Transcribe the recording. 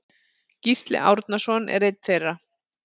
Gísli Árnason er einn þeirra.